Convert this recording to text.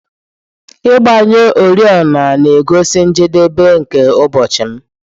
Ịgbanyụ oriọna na-egosi njedebe nke ụbọchị m.